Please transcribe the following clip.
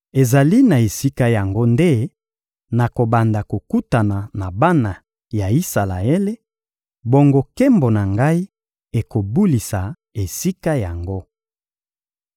Ezali na esika yango nde nakobanda kokutana na bana ya Isalaele; bongo nkembo na Ngai ekobulisa esika yango.